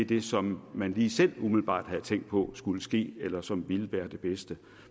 det som man lige selv umiddelbart havde tænkt på skulle ske eller som ville være det bedste